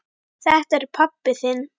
Þetta er pabbi þinn.